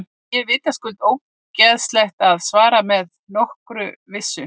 Því er vitaskuld ógerlegt að svara með nokkurri vissu.